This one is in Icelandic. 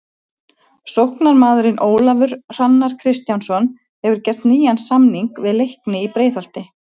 Sóknarmaðurinn Ólafur Hrannar Kristjánsson hefur gert nýjan samning við Leikni í Breiðholti.